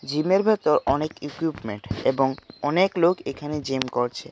জিমের এর ভেতর অনেক ইকুইপমেন্ট এবং অনেক লোক এখানে জিম করছে।